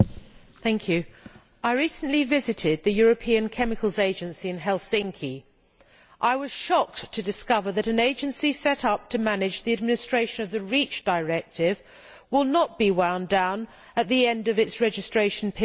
Mr President, I recently visited the European Chemicals Agency in Helsinki. I was shocked to discover that an agency set up to manage the administration of the REACH directive will not be wound down at the end of its registration period.